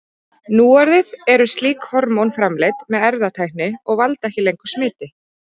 Núorðið eru slík hormón framleidd með erfðatækni og valda ekki lengur smiti.